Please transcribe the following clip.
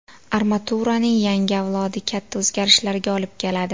Armaturaning yangi avlodi katta o‘zgarishlarga olib keladi.